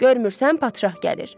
Görmürsən padşah gəlir.